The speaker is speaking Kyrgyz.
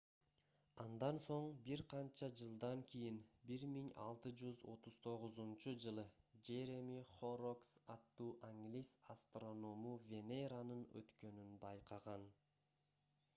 андан соң бир канча жылдан кийин 1639-жылы джереми хоррокс аттуу англис астроному венеранын өткөнүн байкаган